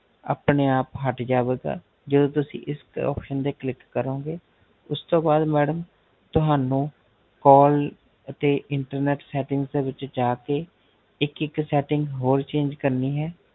ਆਪਣੇ ਆਪ ਹਟ ਜਾਵੇਗਾ ਜਦੋ ਤੁਸੀਂ ਇਸ option ਤੇ Click ਕਰੋਗੇ ਉਸ ਤੋਂ ਬਾਧ Madam ਤੁਹਾਨੂੰ Call ਤੇ Internet Setting ਦੇ ਵਿੱਚ ਜਾ ਕੇ ਇੱਕ ਇੱਕ setting ਹੋਰ change ਕਰਨੀ ਹੈ